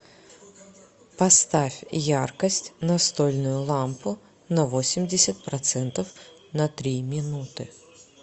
поставь яркость настольную лампу на восемьдесят процентов на три минуты